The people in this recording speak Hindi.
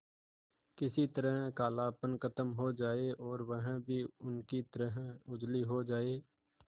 किसी तरह कालापन खत्म हो जाए और वह भी उनकी तरह उजली हो जाय